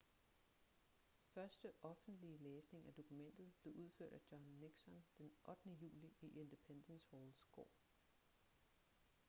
første offentlige læsning af dokumentet blev udført af john nixon den 8. juli i independence halls gård